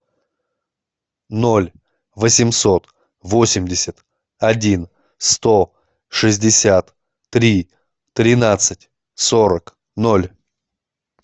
ноль восемьсот восемьдесят один сто шестьдесят три тринадцать сорок ноль